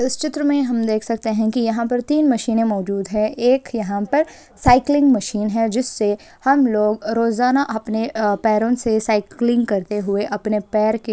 इस चित्र मे हम देख सकते है कि यहा तीन मशीनें मौजूद है एक यहां पर साइकिलिंग मशीन है जिससे हम लोग रोजाना अपने पैरो से साइकिलिंग करते हुए अपने पैर के --